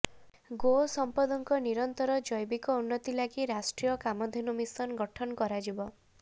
ଗୋ ସମ୍ପଦଙ୍କ ନିରନ୍ତର ଜୈବିକ ଉନ୍ନତି ଲାଗି ରାଷ୍ଟ୍ରୀୟ କାମଧେନୁ ମିଶନ ଗଠନ କରାଯିବ